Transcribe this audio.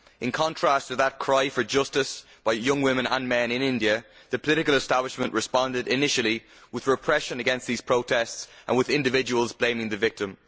In contrast to that cry for justice for young women and men in India, the political establishment responded initially with repression against these protests and with individuals blaming the victim.